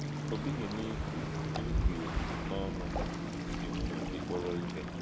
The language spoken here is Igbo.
Ọ̀ bighị n’íkù n’íkù ya n’ọnụ́ na ị ji nwùnyè gị kpọrọ̀ ihe.